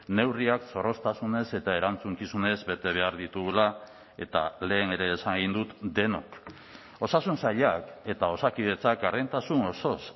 neurriak zorroztasunez eta erantzukizunez bete behar ditugula eta lehen ere esan egin dut denok osasun sailak eta osakidetzak gardentasun osoz